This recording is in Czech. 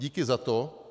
Díky za to.